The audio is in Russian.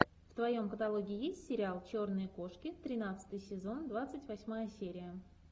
в твоем каталоге есть сериал черные кошки тринадцатый сезон двадцать восьмая серия